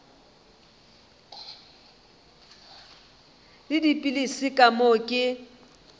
le dipilisi ka moo ke